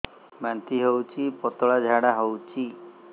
ବାନ୍ତି ହଉଚି ପତଳା ଝାଡା ହଉଚି